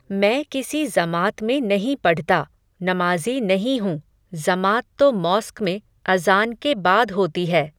मैं किसी ज़मात में नहीं पढता, नमाज़ी नहीं हूं, ज़मात तो मॉस्क में, अज़ान के बाद होती है